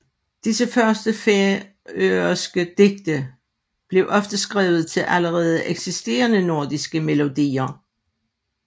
Disse første færøske digte blev ofte skrevet til allerede eksisterende nordiske melodier